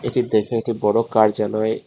এটি দেখে একটি বড় কার্যালয়--